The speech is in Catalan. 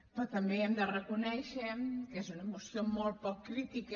però també hem de reconèixer que és una moció molt poc crítica